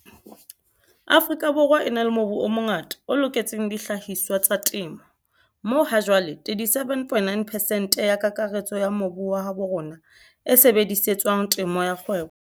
Afrika Borwa e na le mobu o mongata o loketseng dihlahiswa tsa temo, moo hajwale 37,9 pesente ya kakaretso ya mobu wa habo rona e sebedisetswang temo ya kgwebo.